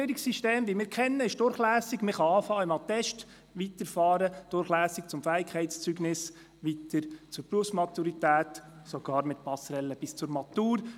Unser Berufsbildungssystem ist durchlässig, man kann beim Attest beginnen, durchlässig weitermachen bis zum Fähigkeitszeugnis, dann weiter zur Berufsmaturität und sogar mit Passerelle bis zur Matur.